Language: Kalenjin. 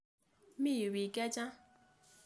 Mi yu piik che chang'.